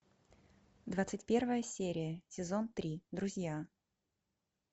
двадцать первая серия сезон три друзья